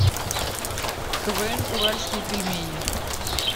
квн уральские пельмени